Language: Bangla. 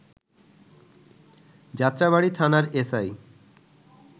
যাত্রাবাড়ী থানার এস আই